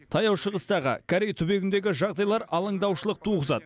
таяу шығыстағы корей түбегіндегі жағдайлар алаңдаушылық туғызады